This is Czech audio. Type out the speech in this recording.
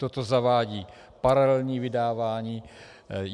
Toto zavádí paralelní vydávání.